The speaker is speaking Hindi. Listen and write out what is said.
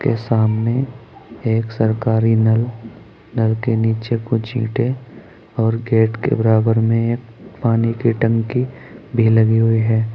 सामने एक सरकारी नल नल के नीचे कुछ ईंटे और गेट के बराबर में पानी की टंकी भी लगी हुई है।